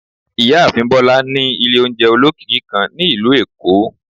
Ìyáàfín bola ni ilé oúnjẹ ólọkíkí kan ni ilú Èko